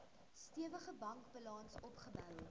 stewige bankbalans opgebou